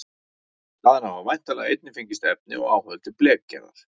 Þaðan hafa væntanlega einnig fengist efni og áhöld til blekgerðar.